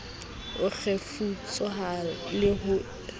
ho kgefutsohare le ho le